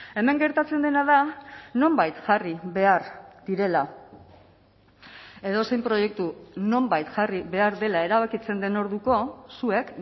hemen gertatzen dena da nonbait jarri behar direla edozein proiektu nonbait jarri behar dela erabakitzen den orduko zuek